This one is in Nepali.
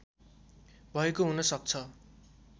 भएको हुन सक्छ